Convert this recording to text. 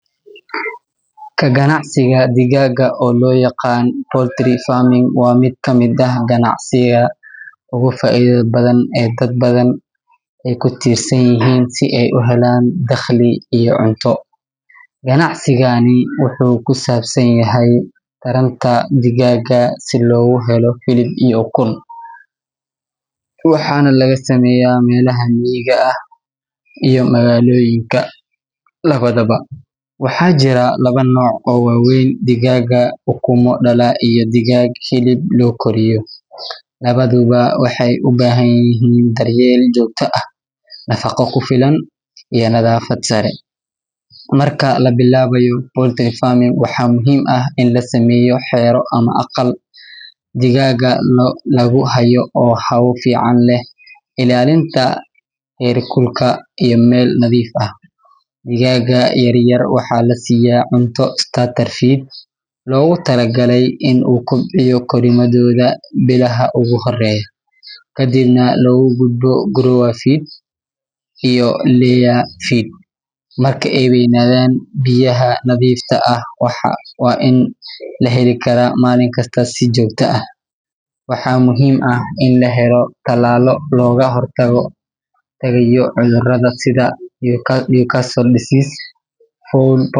Ka ganacsiga digaagga, oo loo yaqaan poultry farming, waa mid ka mid ah ganacsiyada ugu faa’iidada badan ee dad badan ay ku tiirsan yihiin si ay u helaan dakhli iyo cunto. Ganacsigani wuxuu ku saabsan yahay taranta digaagga si loogu helo hilib iyo ukun, waxaana laga sameeyaa meelaha miyiga ah iyo magaalooyinka labadaba. Waxaa jira laba nooc oo waaweyn: digaag ukumo dhala iyo digaag hilib loo koriyo. Labaduba waxay u baahan yihiin daryeel joogto ah, nafaqo ku filan, iyo nadaafad sare. Marka la bilaabayo poultry farming, waxaa muhiim ah in la sameeyo xero ama qol digaagga lagu hayo oo hawo fiican leh, ilaalinta heerkulka, iyo meel nadiif ah. Digaagga yaryar waxaa la siiyaa cunto starter feed loogu talagalay in uu kobciyo korriimadooda bilaha ugu horreeya, kadibna loogu gudbo grower feed iyo layer feed marka ay weynaadaan. Biyaha nadiifta ah waa in la heli karaa maalin kasta si joogto ah. Waxaa muhiim ah in la helo tallaallo looga hortagayo cudurrada sida Newcastle disease, fowl pox.